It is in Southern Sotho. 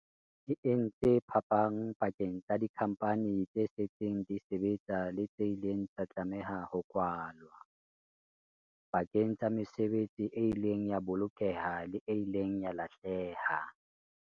E entse phapang pakeng tsa dikhampani tse setseng di sebetsa le tse ileng tsa tlameha ho kwalwa, pakeng tsa mesebetsi e ileng ya bolokeha le e ileng ya lahleha.